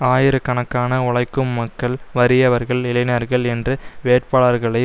ஆயிரக்கணக்கான உழைக்கும் மக்கள் வறியவர்கள் இளைஞர்கள் என்று வேட்பாளர்களை